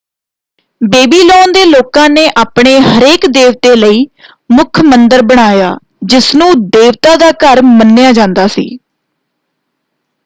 Babylon ਦੇ ਲੋਕਾਂ ਨੇ ਆਪਣੇ ਹਰੇਕ ਦੇਵਤੇ ਲਈ ਮੁੱਖ ਮੰਦਰ ਬਣਾਇਆ ਜਿਸ ਨੂੰ ਦੇਵਤਾ ਦਾ ਘਰ ਮੰਨਿਆ ਜਾਂਦਾ ਸੀ।